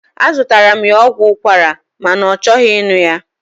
Azụtaara m ya ọgwụ ụkwara ma na ọ chọghị ịṅụ ya.